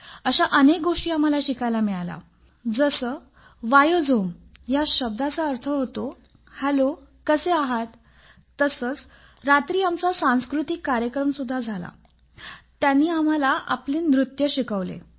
अशा अनेक गोष्टी आम्हाला शिकायला मिळाल्या जसं त्या भाषेत नमस्कार ला काय म्हणतात तसेच आमचा सांस्कृतिक कार्यक्रम झाला होता तेव्हा त्यांनी आम्हाला आपले नृत्य शिकवले